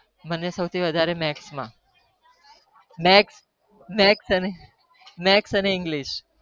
મને સૌથી વધાર ગણિત ને english